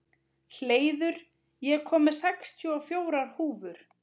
Hleiður, ég kom með sextíu og fjórar húfur!